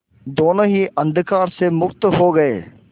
दोेनों ही अंधकार में मुक्त हो गए